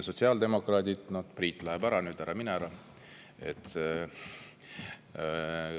Sotsiaaldemokraadid – Priit läheb nüüd ära, ära mine ära!